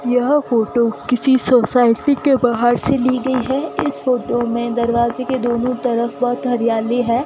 यह फोटो किसी सोसाइटी के बाहर से ली गई है इस फोटो में दरवाजे के दोनों तरफ बहोत हरियाली है।